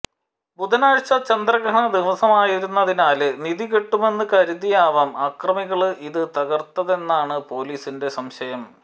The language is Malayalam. ബുധനാഴ്ച ചന്ദ്രഗ്രഹണ ദിവസമായിരുന്നതിനാല് നിധി കിട്ടുമെന്ന് കരുതിയായവാം അക്രമികള് ഇത് തകര്ത്തതെന്നാണ് പോലീസിന്റെ സംശയം